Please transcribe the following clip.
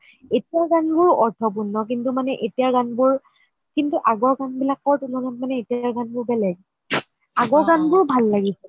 এতিয়াৰ গান বোৰ অৰ্থপূৰ্ণ কিন্তু এতিয়াৰ গান বোৰ কিন্তু আগৰ গান বিলাকৰ তুলনাত মানে এতিয়াৰ গান বোৰ বেলেগ আগৰ গান বোৰ ভাল লাগিছিল